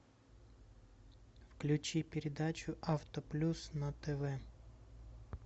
включи передачу авто плюс на тв